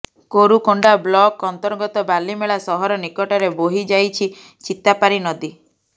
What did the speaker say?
Korukonda block ଅନ୍ତର୍ଗତ ବାଲିମେଳା ସହର ନିକଟରେ ବୋହି ଯାଇଛି ଚିତାପାରୀ ନଦୀ